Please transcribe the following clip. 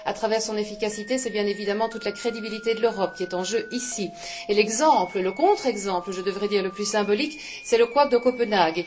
À travers son efficacité, c'est bien évidemment toute la crédibilité de l'Europe qui est en jeu ici. Et l'exemple, le contre exemple je devrais dire, le plus symbolique, c'est le couac de Copenhague.